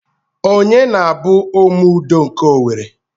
Ọnye na-bụ Ome Udo nke Owerri?